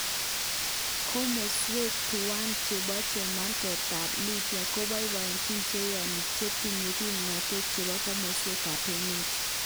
Komoswek tuwan chebo chemarget tab Libya koboiboenchi cheyoni chetinye kipnotet chebo komoswek ab emet.